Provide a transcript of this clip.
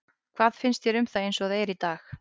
Hvað finnst þér um það eins og það er í dag?